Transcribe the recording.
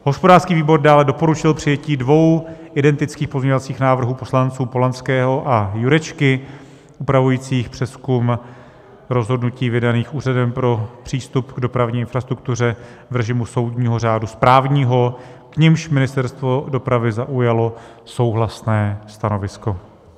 Hospodářský výbor dále doporučil přijetí dvou identických pozměňovacích návrhů poslanců Polanského a Jurečky upravujících přezkum rozhodnutí vydaných Úřadem pro přístup k dopravní infrastruktuře v režimu soudního řádu správního, k nimž Ministerstvo dopravy zaujalo souhlasné stanovisko.